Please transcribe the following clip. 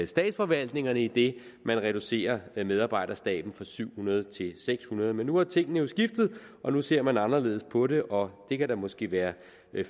statsforvaltningerne idet man reducerer medarbejderstaben fra syv hundrede til seks hundrede men nu er tingene jo skiftet nu ser man anderledes på det og det kan da måske være